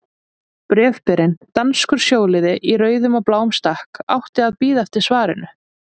Bréfberinn, danskur sjóliði í rauðum og bláum stakk, átti að bíða eftir svarinu.